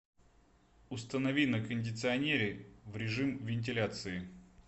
установи на кондиционере в режим вентиляции